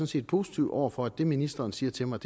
set positiv over for at det ministeren siger til mig